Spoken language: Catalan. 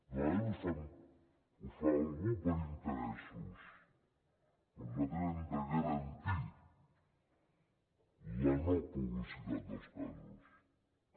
de vegades ho fa algú per interessos però nosaltres hem de garantir la no publicitat dels casos també